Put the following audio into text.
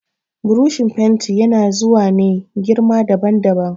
Burushin fenti ya na zuwa ne girma daban daban